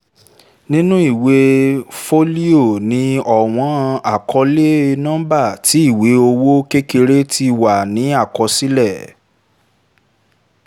nínú ìwé fólíò ni ọ̀wọ́n àkọọ́lẹ̀ nọ́ḿbà tí ìwé owó kékeré ti wà ni àkọsílẹ̀